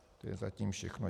To je zatím všechno.